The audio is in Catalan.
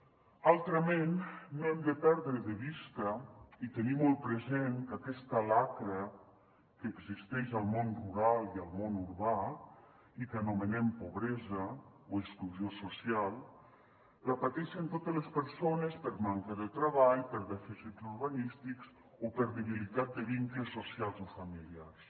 altrament no hem de perdre de vista i hem de tenir molt present que aquesta xacra que existeix al món rural i al món urbà i que anomenem pobresa o exclusió social la pateixen totes les persones per manca de treball per dèficits urbanístics o per debilitat de vincles socials o familiars